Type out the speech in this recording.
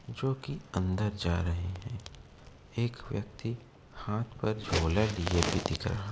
जोकि अंदर जा रहे है। एक व्यक्ति हाथ पर झोला लिए भी दिख रहा है।